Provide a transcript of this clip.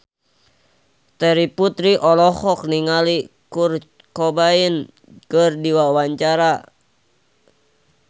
Terry Putri olohok ningali Kurt Cobain keur diwawancara